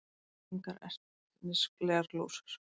Engar ertnislegar glósur.